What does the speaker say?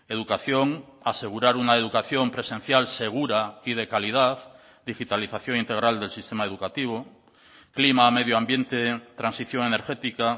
educación asegurar una educación presencial segura y de calidad digitalización integral del sistema educativo clima medio ambiente transición energética